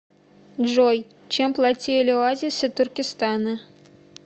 джой чем платили оазисы туркестана